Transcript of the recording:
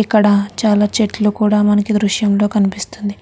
ఇక్కడ చాలా చెట్లు కూడ మనకి దృశ్యంలో కనిపిస్తుంది.